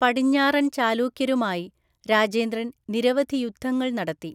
പടിഞ്ഞാറൻ ചാലൂക്യരുമായി രാജേന്ദ്രൻ നിരവധി യുദ്ധങ്ങൾ നടത്തി.